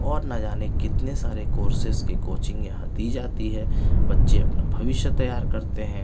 और नजाने कितनी सारे कोर्सेस की कोचिंग यहाँ दी जाती है बच्चे अपना भविष्य तयार करते है.